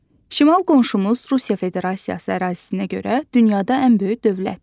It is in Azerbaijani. Şimal qonşumuz Rusiya Federasiyası ərazisinə görə dünyada ən böyük dövlətdir.